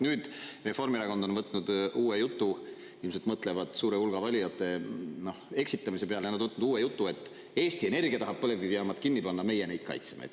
Nüüd Reformierakond on võtnud uue jutu – ilmselt mõtlevad suure hulga valijate, noh, eksitamise peale –, ja nad on võtnud uue jutu, et Eesti Energia tahab põlevkivijaamad kinni panna, meie neid kaitseme.